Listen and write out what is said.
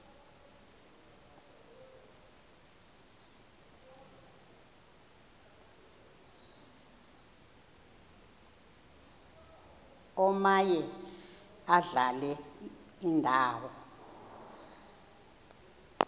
omaye adlale indawo